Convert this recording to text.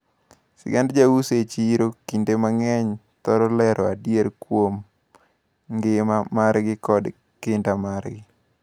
Sigand jouso e chiro kinde mang`eny thoro lero adiera kuom ngima margi kod kinda margi.